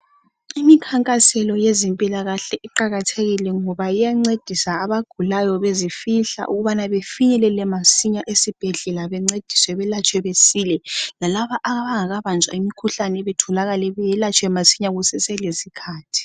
Imikhankaselo yezempilakahle iqakathekile ngoba iyancedisa abagulayo bezifihla ukubana befinyelele masinya esibhedlela bencediswe belatshwe besile lalaba abangakabanjwa imikhuhlane batholakale beyelatshwe masinya kuseselesikhathi.